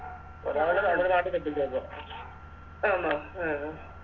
ഒരാള് നാട്ടി കെട്ടിച്ചോടുത്തെ